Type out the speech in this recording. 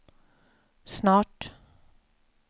snart